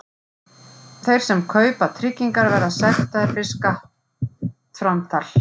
Þeir sem ekki kaupa tryggingar verða sektaðir við skattframtal.